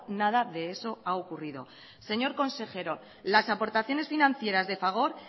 nada de eso ha ocurrido señor consejero las aportaciones financieras de fagor